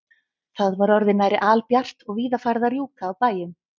Það var orðið nærri albjart og víða farið að rjúka á bæjum.